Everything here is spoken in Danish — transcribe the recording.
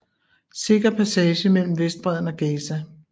Sikker passage mellem Vestbredden og Gaza